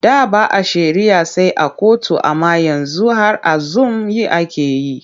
Da ba a shari'a sai a kotu amma yanzu har a zum yi ake yi.